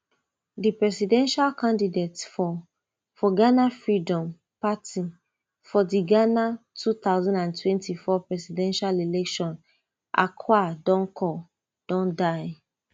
di presidential candidate for for ghana freedom party for di ghana two thousand and twenty-four presidential election akua donkor don die